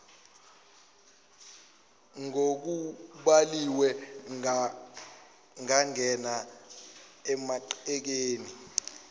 ngokubhaliwe angangena emangcekeni